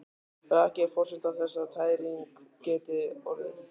Raki er forsenda þess að tæring geti orðið.